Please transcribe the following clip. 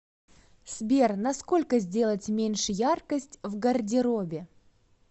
сбер на сколько сделать меньше яркость в гардеробе